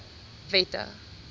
wette